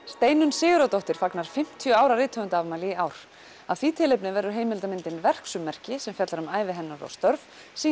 Steinunn Sigurðardóttir fagnar fimmtíu ára rithöfundaafmæli í ár af því tilefni verður heimildamyndin verksummerki sem fjallar um ævi hennar og störf